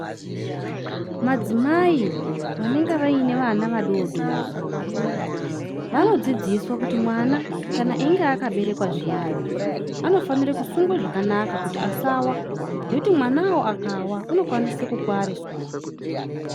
Madzimai vanenge vaine vana vadodori vanodzidziswa kuti mwana kana einge akaberekwa zviyani anofanira kusungwa zvakanaka kuti asawa ngekuti mwana wowo akawa anokwanisa kukuwara soro.